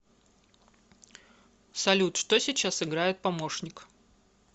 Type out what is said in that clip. салют что сейчас играет помощник